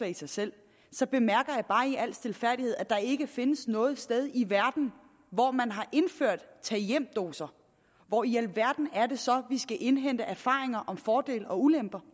i sig selv så bemærker jeg bare i al stilfærdighed at der ikke findes noget sted i verden hvor man har indført tag hjem doser hvor i alverden er det så vi skal indhente erfaringer om fordele og ulemper